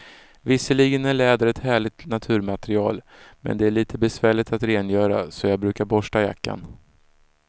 Visserligen är läder ett härligt naturmaterial, men det är lite besvärligt att rengöra, så jag brukar borsta jackan.